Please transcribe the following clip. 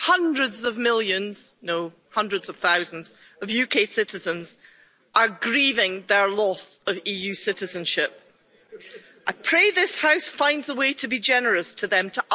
Madam President, today, many, many hundreds of thousands of UK citizens are grieving their loss of EU citizenship. I pray this House finds a way to be generous to them, to us.